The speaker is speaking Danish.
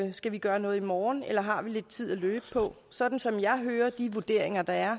vi skal gøre noget i morgen eller har lidt tid at løbe på sådan som jeg hører de vurderinger der er